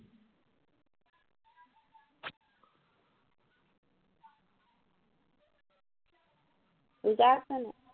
লিজা আছে নাই